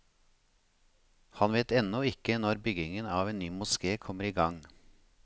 Han vet ennå ikke når byggingen av ny moské kommer i gang.